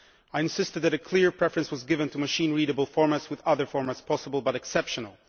Firstly I insisted that a clear preference was given to machine readable formats, with other formats possible but exceptional.